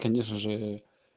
конечно же